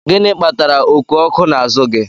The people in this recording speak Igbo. Gị kpatara oku oko n'azụ gị?